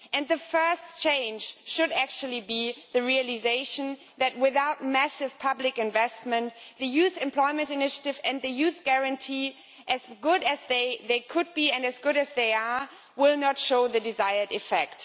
The first change should be the realisation that without massive public investment the Youth Employment Initiative and the Youth Guarantee as good as they could be and as good as they are will not show the desired effect.